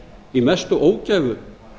í mesta ógæfu